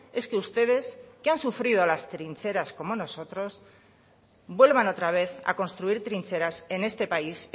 es que ustedes que han sufrido las trincheras como nosotros vuelvan otra vez a construir trincheras en este país